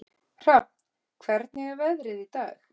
Hrafn, hvernig er veðrið í dag?